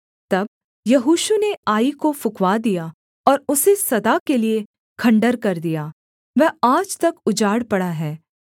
तब यहोशू ने आई को फुँकवा दिया और उसे सदा के लिये खण्डहर कर दिया वह आज तक उजाड़ पड़ा है